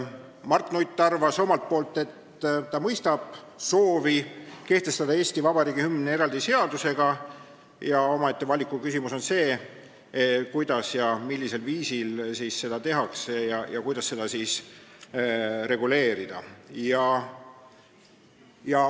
Mart Nutt arvas omalt poolt, et ta mõistab soovi kehtestada Eesti Vabariigi hümn eraldi seadusega, aga omaette valikuküsimus on see, kuidas ja millisel viisil seda tehakse ja kuidas seda reguleerida.